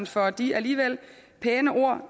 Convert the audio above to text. for de alligevel pæne ord